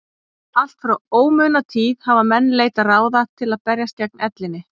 allt frá ómunatíð hafa menn leitað ráða til að berjast gegn ellinni